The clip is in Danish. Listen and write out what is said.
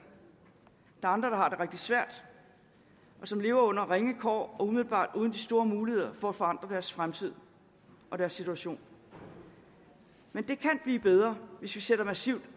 andre der har det rigtig svært og som lever under en ringe kår og umiddelbart uden de store muligheder for at forandre deres fremtid og deres situation men det kan blive bedre hvis vi sætter massivt